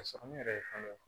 Ka sɔrɔ ne yɛrɛ ye fɛn dɔ ye